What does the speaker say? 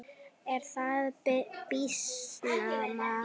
Er það býsna magnað.